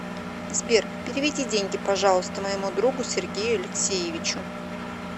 сбер переведи деньги пожалуйста моему другу сергею алексеевичу